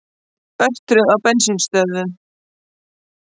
Örtröð á bensínstöðvum